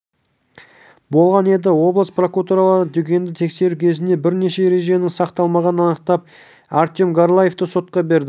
болған еді облыс прокурорлары дүкенді тексеру кезінде бірнеше ереженің сақталмағанын анықтап артем горлаевты сотқа берді